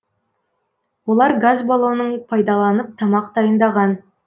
олар газ баллонын пайдаланып тамақ дайындаған